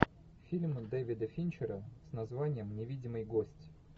фильм дэвида финчера с названием невидимый гость